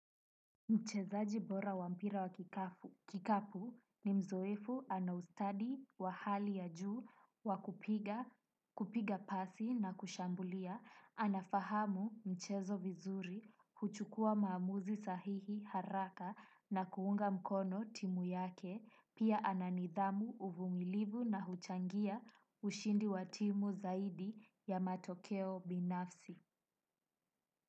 Mchezaji bora wa mpira wa kikapu ni mzoefu ana ustadi wa hali ya juu wa kupiga pasi na kushambulia, anafahamu mchezo vizuri, huchukua maamuzi sahihi haraka na kuunga mkono timu yake, pia ananidhamu uvumilivu na huchangia ushindi wa timu zaidi ya matokeo binafsi.